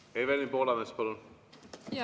Evelin Poolamets, palun!